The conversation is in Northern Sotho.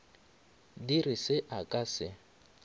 dire se a ka se